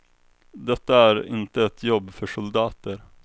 Detta är inte ett jobb för soldater.